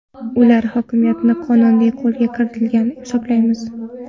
Ular hokimiyatni qonuniy qo‘lga kiritgan deb hisoblamaymiz.